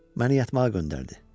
Məni yatmağa göndərdi.